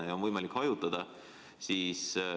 Laudu on ju võimalik hajutada.